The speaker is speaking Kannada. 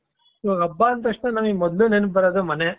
ಇವಾಗ ಹಬ್ಬ ಅಂದ ತಕ್ಷಣ ನನಗೆ ಮೊದಲು ನೆನಪು ಬರುವುದೇ ಮನೆ .